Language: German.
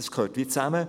Das gehört zusammen.